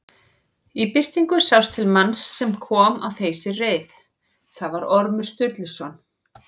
Í birtingu sást til manns sem kom á þeysireið, það var Ormur Sturluson.